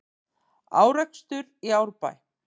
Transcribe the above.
Árekstur í Árbæ